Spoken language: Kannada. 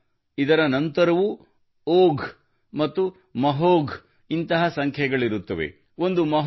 ಇಷ್ಟೇ ಅಲ್ಲ ಇದರ ನಂತರವೂ ಓಘ್ ಮತ್ತು ಮಹೋಘ್ ನಂತಹ ಸಂಖ್ಯೆಗಳಿರುತ್ತವೆ